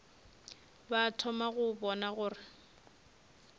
ba thoma go bona gore